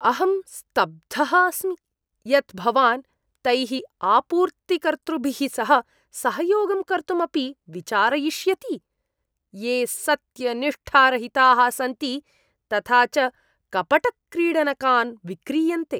अहं स्तब्धः अस्मि यत् भवान् तैः आपूर्तिकर्तृभिः सह सहयोगं कर्तुम् अपि विचारयिष्यति, ये सत्यनिष्ठारहिताः सन्ति तथा च कपटक्रीडनकान् विक्रीयन्ते।